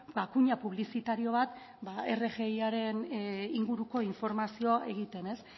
kuña publizitario bat rgiaren inguruko informazioa egiten